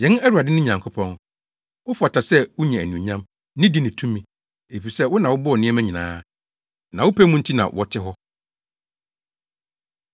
“Yɛn Awurade ne Nyankopɔn, wofata sɛ wunya anuonyam, nidi ne tumi, efisɛ wo na wobɔɔ nneɛma nyinaa, na wo pɛ mu nti na wɔte hɔ.”